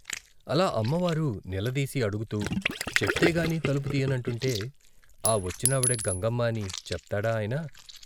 అలా అమ్మవారు నిలదీసి అడుగుతూ, చెప్తేగాని తలుపు తీయనంటుంటే, ఆ వచ్చినావిడ గంగమ్మ అని చెప్తాడా ఆయన?